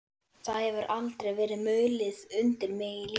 Það hefur aldrei verið mulið undir mig í lífinu.